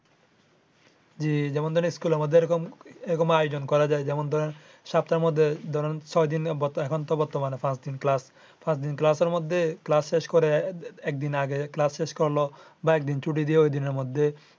হ্যা যেমন ধরেন school আমাদের এ রকম এ রকম আয়োজন করা যায় যেমন ধরেন সপ্তাহের মধ্যে ছয় দিন এখন তো বর্তমানে পাঁচ দিন class পাঁচ দিন class এর মধ্যে class শেষ করে একদিন আগে class বা একদিন ছুটি দিয়ে ঐদিনের মধ্যে